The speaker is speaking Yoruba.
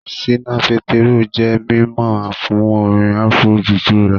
Ṣínà Pétérù jẹ́ mímọ̀ fún orin Afro-juju rẹ̀